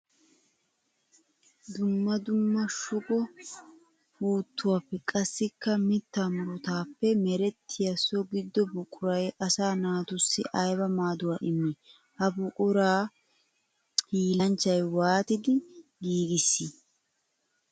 Dumma dumma shugo puutuwappe qassikka mitta murutappe merettiya so gido buquray asaa naatussi aybba maaduwa immi? Ha buqura hiillanchchay waattiddi giigissi?